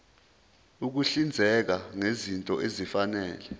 ukuhlinzeka ngezinto ezifanele